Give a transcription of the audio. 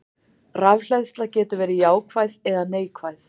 Rafhleðsla getur verið jákvæð eða neikvæð.